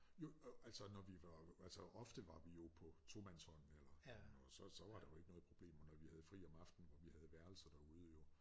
Jo altså når vi var altså ofte var vi jo på tomandshånd eller så så var der jo ikke noget problem og når vi havde fri om aftenen og vi havde værelser derude jo